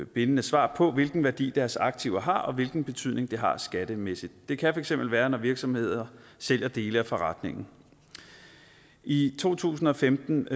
bindende svar på hvilken værdi deres aktiver har og hvilken betydning det har skattemæssigt det kan for eksempel være når virksomheder sælger dele af forretningen i to tusind og femten